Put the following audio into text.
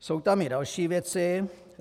Jsou tam i další věci.